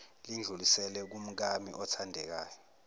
lidluliselwe kumkami othandekayo